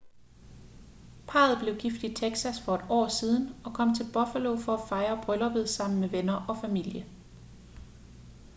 parret blev gift i texas for et år siden og kom til buffalo for at fejre brylluppet sammen med venner og familier